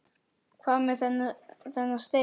Hvað með þennan stein?